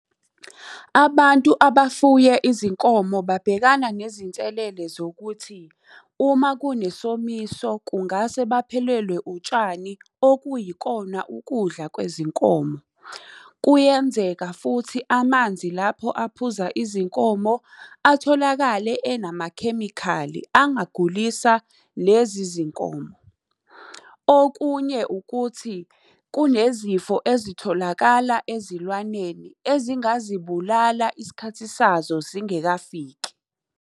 Abantu abafuye izinkomo babhekana nezinselele zokuthi, uma kunesomiso kungase baphelelwe utshani okuyikona ukudla kwezinkomo. Kuyenzeka futhi amanzi lapho aphuza izinkomo atholakale enamakhemikhali angagulisa lezi zinkomo. Okunye ukuthi, kunezifo ezitholakala ezilwaneni ezingazibulala isikhathi sazo singekafiki.